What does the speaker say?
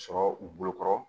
Sɔrɔ u bolo kɔrɔ